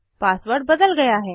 password बदल गया है